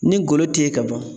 Ni golo tɛ yen ka ban